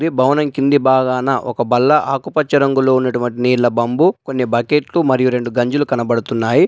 ఈ భవనం కింది భాగాన ఒక బల్ల ఆకుపచ్చ రంగులో ఉన్నటువంటి నీళ్ళ బంబు కొన్ని బకెట్లు మరియు రెండు గంజులు కనబడుతున్నాయి.